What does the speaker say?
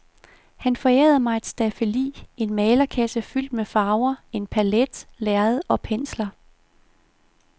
Han forærede mig et staffeli, en malerkasse fyldt med farver, en palet, lærred og pensler.